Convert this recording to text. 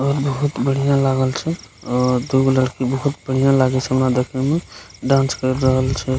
और बहुत बढ़िया लागल छे और दुगो लड़की बहुत बढ़िया लगे छे हमरा देखेय में डांस कर रहल छे।